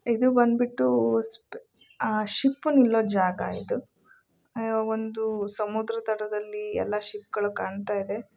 ಇದು ಒಂದು ಬಂದ್ಬಿಟ್ಟುಆ ಶಿಪ್ ನಿಲ್ಲೋ ಜಾಗ ಇದು ಒಂದು ಸಮುದ್ರ ದಡದಲ್ಲಿಎಲ್ಲಾ ಶಿಪ್ ಗಳು ಕಾಣತ್ತಾಯಿದೆ.